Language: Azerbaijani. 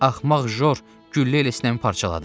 Axmaq Jor güllə elə sinəmi parçaladı.